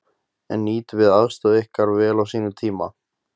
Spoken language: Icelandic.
En nýttum við aðstoð okkar vel á sínum tíma?